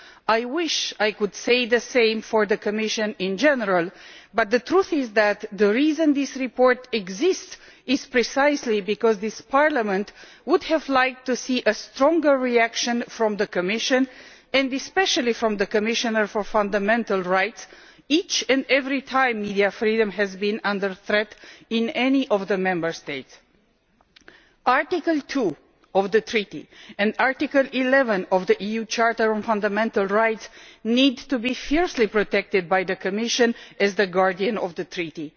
I wish I could say the same for the Commission in general, but the truth is that the reason this report exists is precisely because this Parliament would have liked to see a stronger reaction from the Commission, and especially from the Commissioner for Fundamental Rights, each and every time media freedom has been under threat in any of the Member States. Article 2 of the Treaty and Article 11 of the EU Charter on Fundamental Rights need to be fiercely protected by the Commission as the guardian of the Treaty.